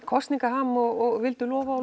kosningaham og vildu lofa og